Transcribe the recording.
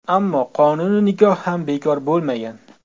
Ammo qonuniy nikoh ham bekor bo‘lmagan.